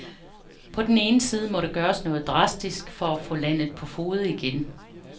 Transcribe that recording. På den ene side må der gøres noget drastisk for at få landet på fode igen.